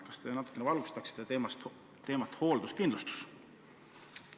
Kas te natuke valgustaksite hoolduskindlustuse teemat?